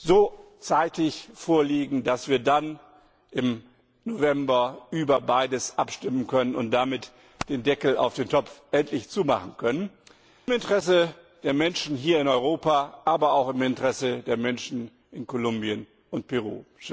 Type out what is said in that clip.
so zeitig vorliegen, dass wir dann im November über beides abstimmen können und damit den Deckel auf dem Topf endlich zumachen können im Interesse der Menschen hier in Europa, aber auch im Interesse der Menschen in Kolumbien und Peru!